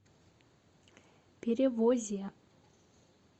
перевозе